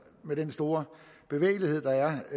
med den store bevægelighed der er